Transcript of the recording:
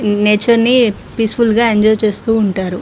Nature ని peaceful గా enjoy చేస్తూ ఉంటారు.